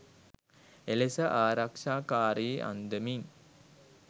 එලෙස ආරක්‍ෂාකාරී අන්දමින්